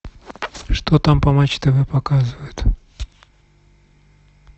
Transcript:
что там по матч тв показывают